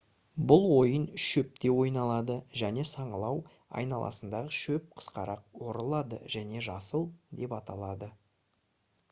бұл ойын шөпте ойналады және саңылау айналасындағы шөп қысқарақ орылады және «жасыл» деп аталады